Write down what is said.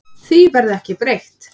Því verði ekki breytt.